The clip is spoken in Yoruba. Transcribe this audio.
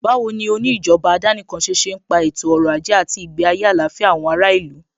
Báwo ni oní ìjọba àdánìkanṣe ṣe ń pa ètò ọrọ̀ ajé àti ìgbé ayé àlàáfíà àwọn ará ìlú?